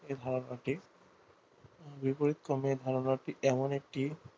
এই ধারণাটি বিপরীতক্রমে ধারণাটি এমন একটি